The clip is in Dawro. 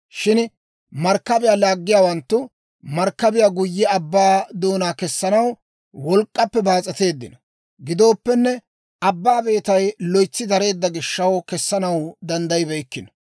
Shin markkabiyaa laaggiyaawanttu markkabiyaa guyye abbaa doonaw kessanaw wolk'k'appe baas'eteeddino; giddoppenne, abbaa beetay loytsi dareedda gishaw, kessanaw danddayibeykkino.